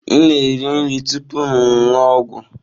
M na-eri nri tupu m aṅụ ọgwụ.